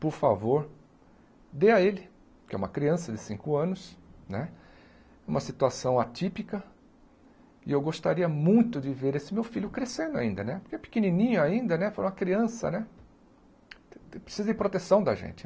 por favor, dê a ele, que é uma criança de cinco anos né, uma situação atípica, e eu gostaria muito de ver esse meu filho crescendo ainda né, porque é pequenininho ainda né, foi uma criança né, precisa de proteção da gente.